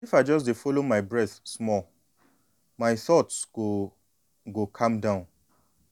if i just dey follow my breath small my thoughts go go calm down.